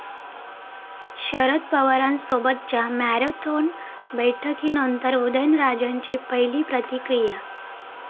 शरद पवारांसोबतच्या मॅरेथॉन बैठकीनंतर उदयनराजेंची पहिली प्रतिक्रिया